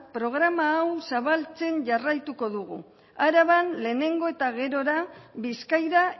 programa hau zabaltzen jarraituko dugu araban lehenengo eta gerora bizkaira